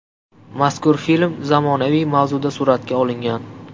Mazkur film zamonaviy mavzuda suratga olingan.